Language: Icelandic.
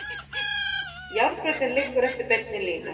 Járnbrautin liggur eftir beinni línu.